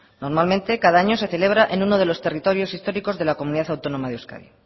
normalmente cada año se celebra en uno de los territorios históricos de la comunidad autónoma de euskadi